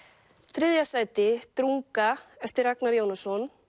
þriðja sæti drunga eftir Ragnar Jónasson